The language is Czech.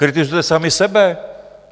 Kritizujete sami sebe.